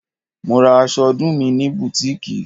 Mo ra aṣọ ọdún mi ní butiiki.